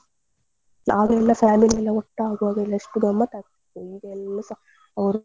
ಆಗ ಎಲ್ಲ family ಎಲ್ಲ ಒಟ್ಟಾಗುವಾಗ ಎಸ್ಟು ಗಮ್ಮತ್ ಆಗ್ತಿತ್ತು ಈಗ ಎಲ್ಲೂಸ ಅವ್ರು.